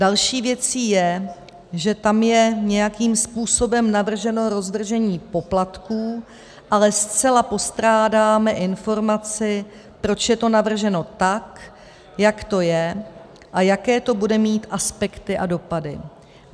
Další věcí je, že tam je nějakým způsobem navrženo rozvržení poplatků, ale zcela postrádáme informaci, proč je to navrženo tak, jak to je, a jaké to bude mít aspekty a dopady.